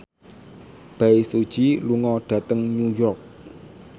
Bae Su Ji lunga dhateng New York